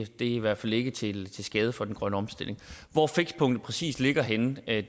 det i hvert fald ikke til skade for den grønne omstilling hvor fikspunktet præcis ligger kan jeg